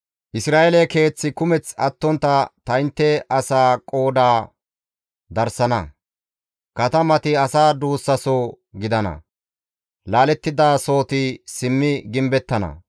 Isra7eele keeth kumeththi attontta ta intte asaa qooda darssana; katamati asa duussaso gidana; laalettidasoti simmi gimbettana.